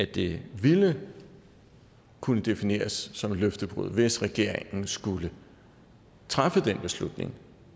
det ville kunne defineres som et løftebrud hvis regeringen skulle træffe den beslutning